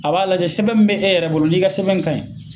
A b'a lajɛ sɛbɛn mun bɛ e yɛrɛ bolo n'i ka sɛbɛn ka ɲi